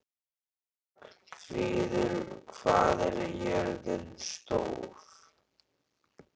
Ragnfríður, hvað er jörðin stór?